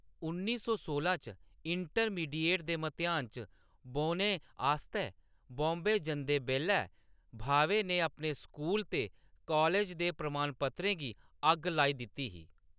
उन्नी सौ सोलां च इंटरमीडिएट दे मतेआन च बौह्‌‌‌ने आस्तै बॉम्बे जंदे बेल्लै, भावे ने अपने स्कूल ते कालज दे प्रमाणपत्रें गी अग्ग लाई दित्ती ही।